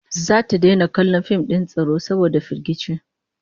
Zata daina kallon fim din tsoro saboda firgici